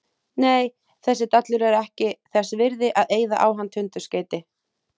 Nei, þessi dallur er ekki þess virði að eyða á hann tundurskeyti